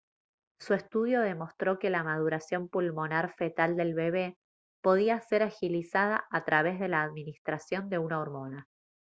su estudio demostró que la maduración pulmonar fetal del bebé podía ser agilizada a través de la administración de una hormona